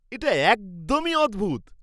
এটা একদমই অদ্ভূত!